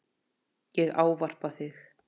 Ég ávarpa þig